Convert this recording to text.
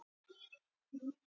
englar eru vinir okkar allra